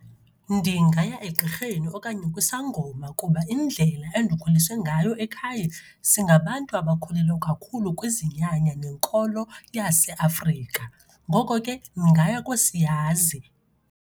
Ndingaya egqirheni okanye kwisangoma kuba indlela endikhuliswe ngayo ekhaya singabantu abakholelwa kakhulu kwizinyanya nenkolo yaseAfrika, ngoko ke ndingaya koosiyazi.